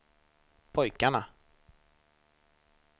pojkarna